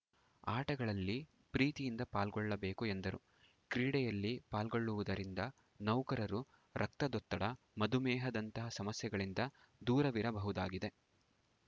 ಆಟಗಳಲ್ಲಿ ಪ್ರೀತಿಯಿಂದ ಪಾಲ್ಗೊಳ್ಳಬೇಕು ಎಂದರು ಕ್ರೀಡೆಯಲ್ಲಿ ಪಾಲ್ಗೊಳ್ಳುವುದರಿಂದ ನೌಕರರು ರಕ್ತದೊತ್ತಡ ಮಧುಮೇಹ ದಂತಹ ಸಮಸ್ಯೆಗಳಿಂದ ದೂರವಿರಬಹುದಾಗಿದೆ